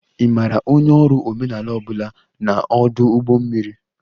Ị maara onye ọrụ omenala ọ bụla na ọdụ ụgbọ mmiri?